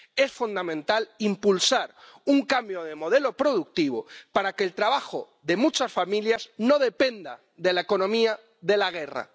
Es fundamental impulsar un cambio de modelo productivo para que el trabajo de muchas familias no dependa de la economía de la guerra.